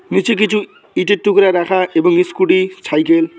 নীচে কিছু ইঁটের টুকরা রাখা এবং ইস্কুটি ছাইকেল ।